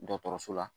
Dɔgɔtɔrɔso la